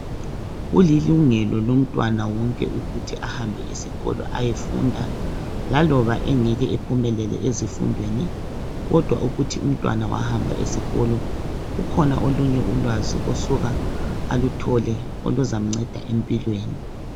Kulilungelo lomntwana wonke ukuthi ahambe esikolo ayefunda laloba engeke ephumelele ezifundweni kodwa ukuthi umntwana wahamba esikolo kukhona olunye ulwazi osuka aluthole oluzamnceda empilweni .